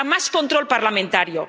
a más control parlamentario